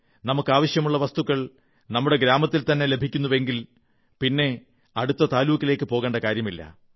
നമുക്കാവശ്യമുള്ള വസ്തുക്കൾ നമ്മുടെ ഗ്രാമത്തിൽത്തന്നെ ലഭിക്കുന്നുവെങ്കിൽ പിന്നെ താലൂക്കിലേക്കു പോകേണ്ട കാര്യമില്ല